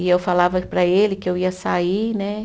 E eu falava para ele que eu ia sair, né?